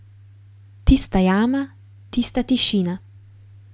Tista jama, tista tišina.